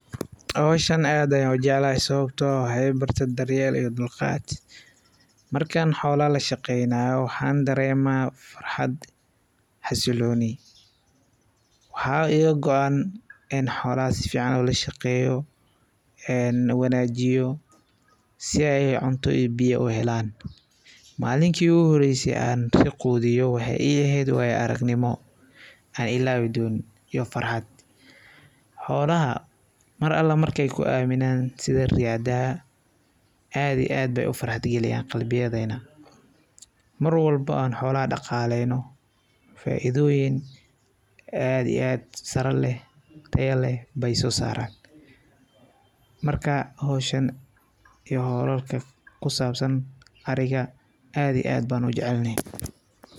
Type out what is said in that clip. Hawshan aad aya u jeclahay sabato eeh waxy ibarte daryeel iyo dulqaad. Markaan xoolaha lashaqeynayo waxan dareema farxad xasilooni waxa iga qowaan eeh in xoolaha safican ulashaqeyo, wanajiyo si ay cunto iyo biyo ay u helaan. Mallinta igu horeyso oo an qudhiyo waxay i eheed wayo argnimo aa ilawi doniin iyo farxaad. Xoolaha mar ala marki ay ku aminan siya rada aah ad iyo ad ay u faraxgaliyaan qalbiyadeena marwalba an xoolaha daqaleyno faidho weyn ad iyo ad sara lee taya leeh baay so saran marka hawshan iyo hawlal kale kusabsan ariga ad iyo ad ban u jecelhay.